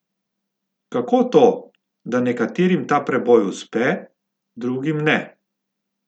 Kako to, da nekaterim ta preboj uspe, drugim ne?